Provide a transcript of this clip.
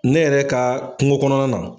Ne yɛrɛ ka kungo kɔnɔna na.